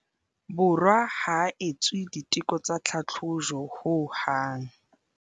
Borwa ha etswe diteko tsa tlhatlhojo ho hang.